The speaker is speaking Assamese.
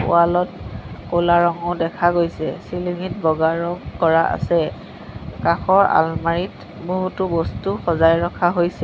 ৱালত ক'লা ৰঙো দেখা গৈছে চিলিঙি ত বগা ৰং কৰা আছে কাষৰ আলমাৰীত বহুতো বস্তু সজাই ৰখা হৈছে।